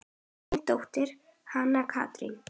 Þín dóttir, Hanna Katrín.